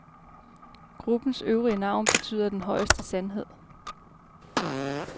Gruppens øvrige navn betyder den højeste sandhed.